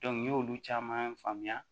n ɲ'olu caman faamuya